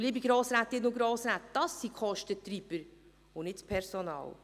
Und dies, liebe Grossrätinnen und Grossräte, sind die Kostentreiber, nicht das Personal.